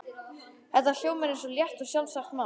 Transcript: Þetta hljómar eins og létt og sjálfsagt mál.